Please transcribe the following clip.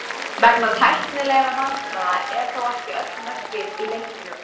Vegna tæknilegra vandræða eru þó ekki öll mörkin í leiknum.